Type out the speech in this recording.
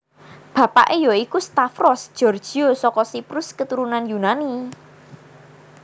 Bapake ya iku Stavros Georgiou saka Siprus keturunan Yunani